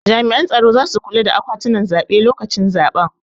Jami'an tsaro zasu kula da akwatunan zaɓe lokacin zaben